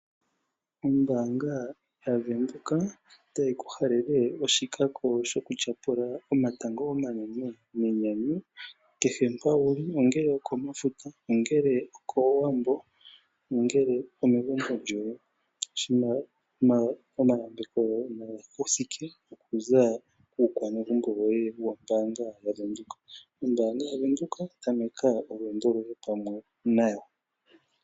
Ombanga yaVenduka otayi ku halele oshikako shoku lyapula omatango omanene nenyanyu kehe mpa wuli. Ongele okomafuta ongele okowambo ongele omegumbo lyoye. Omayambeko goye nage kuthike oku kuukwanegumbo woye wombanga yaVenduka. Ombanga yaVenduka tameka olweendo loye pamwe nayo.